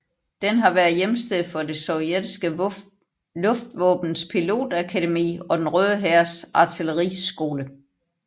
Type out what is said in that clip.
Den har været hjemsted for det sovjetiske luftvåbens pilotakademi og Den Røde Hærs artilleriskole